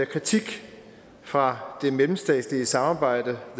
kritik fra det mellemstatslige samarbejde